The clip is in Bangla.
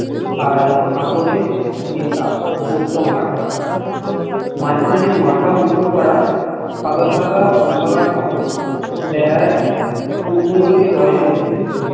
আর কাকরে মেশা ছোট্ট মাঠ মাঝখানে মাথা উচু করা সাদা সাদা অম্বকর পাথর যারা পূর্ব দিকে যায় যদি